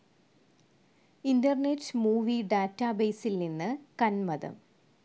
internet movie ഡാറ്റാബേസിൽ നിന്ന് കന്മദം